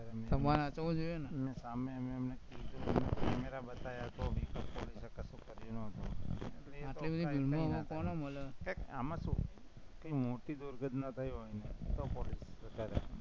તમારે સાચવવો જોઈએ ને સામે હાલીને મેં camera બતાવ્યા પણ આમાં શું કોઈ મોટી દુર્ઘટના થઇ હોય ને તો પોલીસ રિપોર્ટ થાય